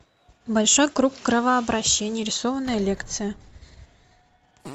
большой круг кровообращения рисованная лекция